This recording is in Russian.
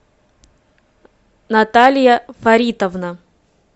наталья фаритовна